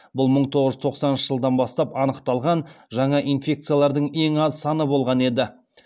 бұл мың тоғыз жүз тоқсаныншы жылдан бастап анықталған жаңа инфекциялардың ең аз саны болған еді